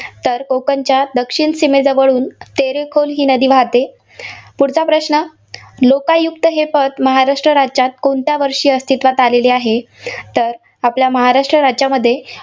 तर कोकणच्या दक्षिण सीमेजवळून तेरेखोल ही नादी वाहते. पुढचा प्रश्न. लोकायुक्त हे पद महाराष्ट्र राज्यात कोणत्या वर्षी अस्तित्वात आलेले आहे. तर आपल्या महाराष्ट्र राज्यामध्ये